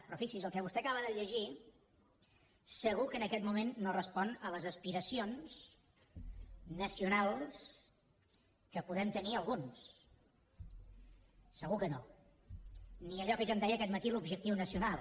però fixi’s el que vostè acaba de llegir segur que en aquest moment no respon a les aspiracions nacionals que podem tenir alguns segur que no ni allò que jo en deia aquest matí l’objectiu nacional